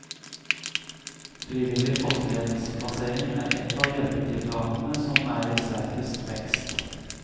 Frivillig fosterhjemsplassering er ett av hjelpetiltakene som er i sterkest vekst.